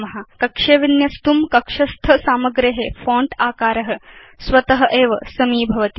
कक्षे विन्यस्तुं कक्षस्थ सामग्रे फोंट आकार स्वत एव समीभवति